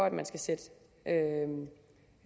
at man skal sætte